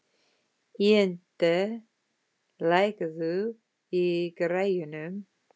Ynda, lækkaðu í græjunum.